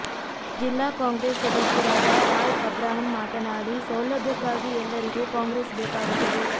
ಜಿಲ್ಲಾ ಕಾಂಗ್ರೆಸ್ ಸದಸ್ಯರಾದ ರಾಯ್ ಅಬ್ರಾಹಂ ಮಾತನಾಡಿ ಸೌಲಭ್ಯಕ್ಕಾಗಿ ಎಲ್ಲರಿಗೂ ಕಾಂಗ್ರೆಸ್ ಬೇಕಾಗುತ್ತದೆ